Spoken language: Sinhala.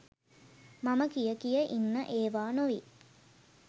මම කිය කිය ඉන්න ඒවා නොවෙයි.